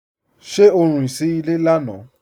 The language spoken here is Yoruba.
Ṣe o rín sí ilẹ̀ lánà?